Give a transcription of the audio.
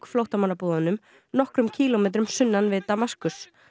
flóttamannabúðunum nokkrum kílómetrum sunnan við Damaskus